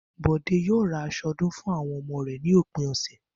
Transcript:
Bò̩dé yóò ra as̩o̩ o̩dún fún àwo̩n o̩mo̩ rè̩ ní òpin ò̩sè̩